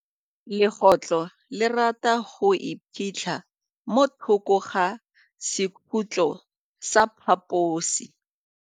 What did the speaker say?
Legôtlô le rata go iphitlha mo thokô ga sekhutlo sa phaposi.